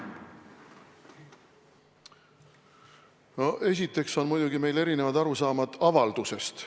Esiteks on meil muidugi erinevad arusaamad avaldusest.